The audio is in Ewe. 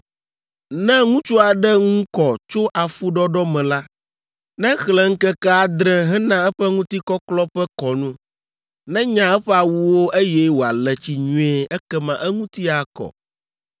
“ ‘Ne ŋutsu aɖe ŋu kɔ tso afuɖɔɖɔ me la, nexlẽ ŋkeke adre hena eƒe ŋutikɔklɔ ƒe kɔnu, nenya eƒe awuwo eye wòale tsi nyuie ekema eŋuti akɔ.